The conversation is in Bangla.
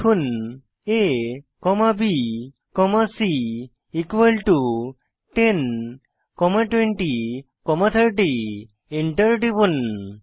লিখুন a comma b comma c equal to 10 comma 20 comma 30 Enter টিপুন